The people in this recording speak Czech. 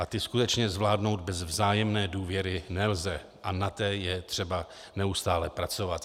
A ty skutečně zvládnout bez vzájemné důvěry nelze a na té je třeba neustále pracovat.